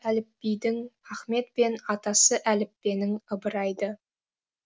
әліпбидің ахмет пен атасы әліппенің ыбырай ды